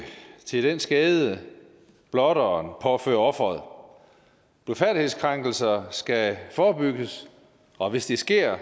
til den skade blotteren påfører offeret blufærdighedskrænkelser skal forebygges og hvis det sker